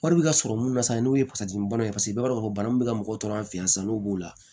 Wari bɛ ka sɔrɔ mun na sisan n'o ye ye paseke i b'a dɔn k'a fɔ bana min bɛ ka mɔgɔw tɔɔrɔ an fɛ yan sisan n'o b'o la